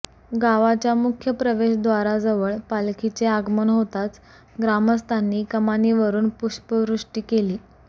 गावाच्या मुख्य प्रवेशद्वाराजवळ पालखीचे आगमन होताच ग्रामस्थांनी कमानीवरून पुष्पवृष्टी केली